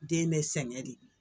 Den bɛ sɛgɛn de